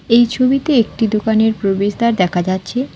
এই ছবিতে একটি দোকানের প্রবেশদ্বার দেখা যাচ্ছে।